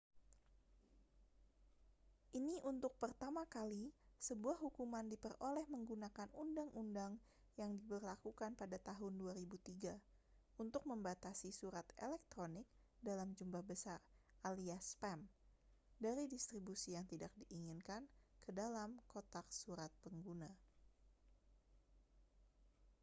ini untuk pertama kali sebuah hukuman diperoleh menggunakan undang-undang yang diberlakukan pada tahun 2003 untuk membatasi surat elektronik dalam jumlah besar alias spam dari distribusi yang tidak diinginkan ke dalam kotak surat pengguna